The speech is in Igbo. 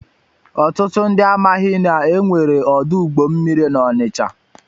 Ọtụtụ ndị amaghị na e nwere ọdụ ụgbọ mmiri na Onịcha.